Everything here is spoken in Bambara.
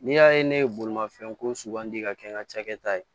N'i y'a ye ne ye bolimafɛn ko sugandi ka kɛ n ka cakɛda ye